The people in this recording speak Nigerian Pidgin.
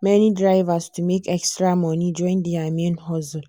many drivers to make extra money join their main hustle.